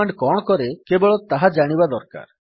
command କଣ କରେ କେବଳ ତାହା ଜାଣିବା ଦରକାର